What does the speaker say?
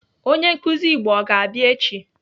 Onye nkụzi Igbo ọ ga-abịa echi?